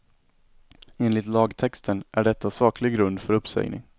Enligt lagtexten är detta saklig grund för uppsägning.